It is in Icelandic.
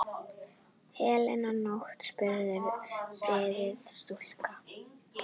Heila nótt? spurði forviða stúlka.